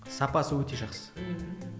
сапасы өте жақсы ммм